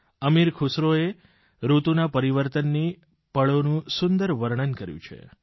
અમીર ખુસરોએ ઋતુના પરિવર્તનની પળોનું સુંદર વર્ણન કર્યું છે